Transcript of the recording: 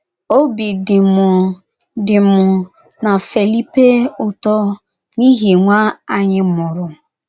Obi dị mụ dị mụ na Felipe ụtọ n'ịhi nwa anyị mụrụ.